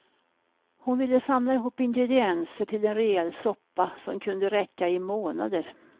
Hon ville samla ihop ingredienser till en rejäl soppa, som kunde räcka i månader.